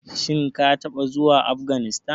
Shin ka taɓa zuwa Afganistan.